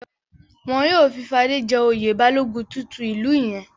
Wọn yóò fi Fadé jẹ oyè Balógun tuntun ìlú yẹn.